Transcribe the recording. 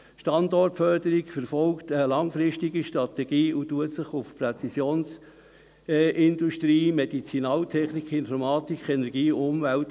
Die Standortförderung verfolgt eine langfristige Strategie und fokussiert auf Präzisionsindustrie, Medizinaltechnik, Informatik, Energie und Umwelt.